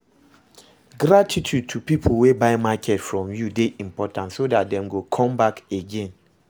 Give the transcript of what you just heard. Gratitude to pipo wey buy market from you de important so that dem go come back again